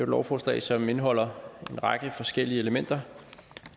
lovforslag som indeholder en række forskellige elementer og